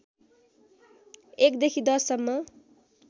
१ देखि १० सम्म